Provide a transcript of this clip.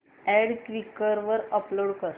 add Quikr वर upload कर